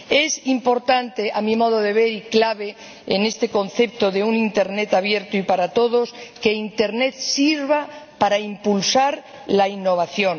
Es importante, a mi modo de ver, y clave, en este concepto de un Internet abierto y para todos, que Internet sirva para impulsar la innovación